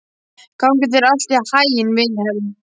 Gangi þér allt í haginn, Vilhelm.